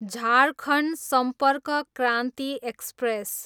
Jharkhand Sampark Kranti express